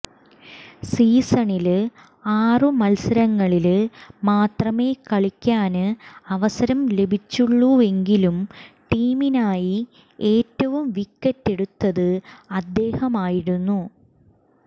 സീസണില് ആറു മല്സരങ്ങളില് മാത്രമേ കളിക്കാന് അവസരം ലഭിച്ചുള്ളൂവെങ്കിലും ടീമിനായി ഏറ്റവും വിക്കറ്റെടുത്തത് അദ്ദേഹമായിരുന്നു